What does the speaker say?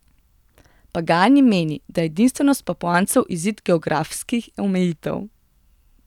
Pagani meni, da je edinstvenost Papuancev izid geografskih omejitev.